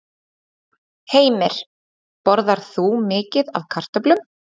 Heimir: Borðar þú mikið af kartöflum?